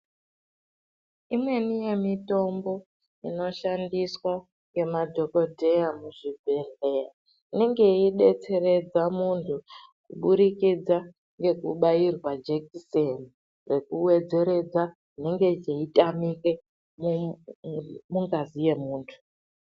Imweni yemitombo inoshandiswa ngemadhogodheya muzvibhedhlera, inonge yeidetseredza muntu kuburikidza ngekubairwa jekiseni rekuwedzeredza zvinenge zveitamike mungazi yemuntu.